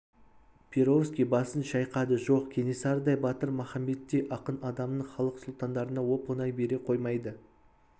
перовский басын шайқады жоқ кенесарыдай батыр махамбеттей ақын адамын халық сұлтандарына оп-оңай бере қоймайды